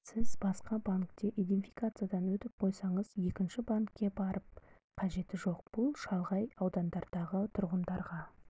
сіз басқа банкте иденфикациядан өтіп қойсаңыз екінші банкке барып қажеті жоқ бұл шалғай аудандардағы тұрғындарға